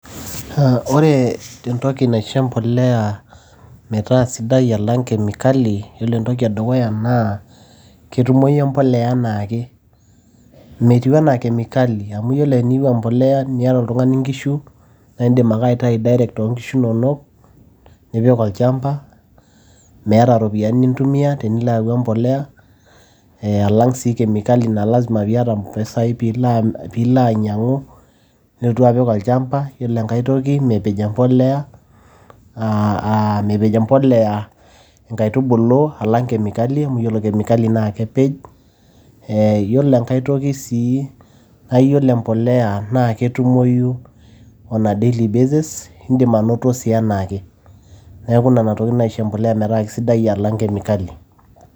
Ore entoki naisho empolea metaa sidai alang kemikali, iyiolo entoki edukuya naa ketumoyu empolea enaake. Metiu anaa kemikali, amu ore teniyieu empolea naa tiniata oltungani inkishu naa idim ake aitayu direct too inkishu nonok, nipik olchamba. Meata iropiyiani nintumia tenilo ayau empolea. Alang' sii kemikali naa lazima piata impisai pee ilo ainyang'u, nilotu apik olchamba. Iyiolo aitoki, mepej empolea inkaitubulu alang' kemikali, amu iyiolo kemikali naa kepej. Iyiolo enkai toki sii naa iyiolo empolea naa ketumoyu on a daily basis indim anoto sii anaake. Neaku nena tokiti naaisho empolea metaa keisidai alang' kemikali.